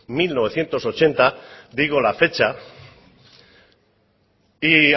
mil novecientos ochenta digo la fecha y